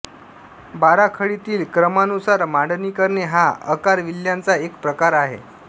बाराखडीतील क्रमानुसार मांडणी करणे हा अकारविल्ह्याचा एक प्रकार आहे